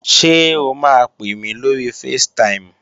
Ṣé o máa pè mí lórí facetime?